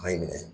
A y'i minɛ